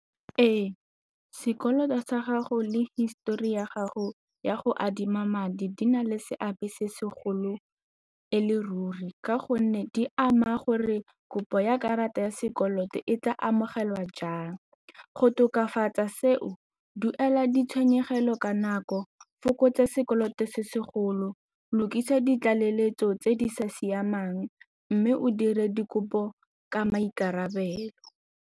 Ee, sekoloto sa gago le histori ya gago ya go adima madi di na le seabe se segolo e le ruri ka gonne di ama gore kopo ya karata ya sekoloto e tla amogelwa jang. Go tokafatsa seo, duela ditshenyegelo ka nako, fokotsa sekoloto se segolo, lokisa ditlaleletso tse di sa siamang mme o dire dikopo ka maikarabelo.